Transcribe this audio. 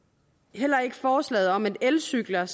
heller ikke forslaget om at elcykler